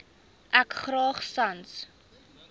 ek graag sans